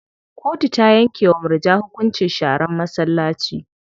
Kotu ta yanke wa murja hukuncin sharan masallaci.